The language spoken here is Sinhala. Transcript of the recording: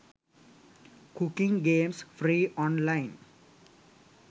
cooking games free online